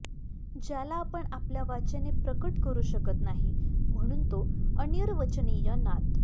ज्याला आपण आपल्या वाचेने प्रकट करू शकत नाही म्हणून तो अनिर्वचनीय नाद